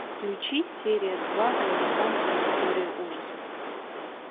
включи серия два американская история ужасов